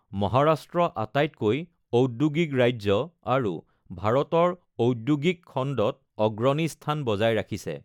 মহাৰাষ্ট্ৰ আটাইতকৈ ঔদ্যোগিক ৰাজ্য আৰু ভাৰতৰ ঔদ্যোগিক খণ্ডত অগ্ৰণী স্থান বজাই ৰাখিছে।